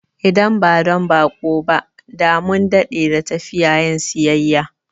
Idan ba don baƙo ba, da mun dade da tafiya yin siyayya